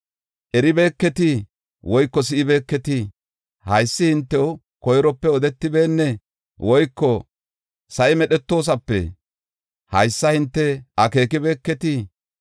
Eribeeketii? Woyko si7ibeeketii? Haysi hintew koyrope odetibeennee? Woyko sa7i medhetoosape haysa hinte akeekibeketii?